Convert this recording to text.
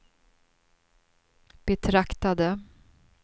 betraktade